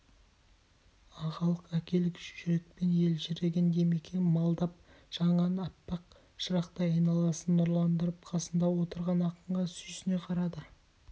ағалық әкелік жүрекпен елжіреген димекең маздап жанған аппақ шырақтай айналасын нұрландырып қасында отырған ақынға сүйсіне қарады